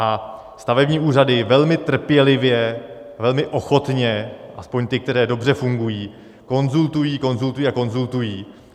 A stavební úřady velmi trpělivě, velmi ochotně, aspoň ty, které dobře fungují, konzultují, konzultují a konzultují.